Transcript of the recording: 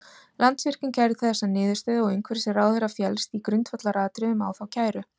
Landsvirkjun kærði þessa niðurstöðu og umhverfisráðherra féllst í grundvallaratriðum á þá kæru.